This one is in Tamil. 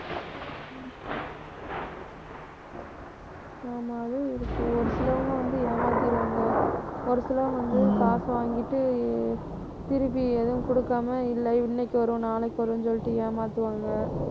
ஆமா அது இருக்கு. ஒரு சிலவங்க வந்து ஏமாத்திருவாங்க. ஒரு சிலர் வந்து காசை வாங்கிட்டு திருப்பி எதுவும் கொடுக்காம இல்லை இன்னைக்கு வரும் நாளைக்கு வரும்னு சொல்லிட்டு ஏமாத்துவாங்க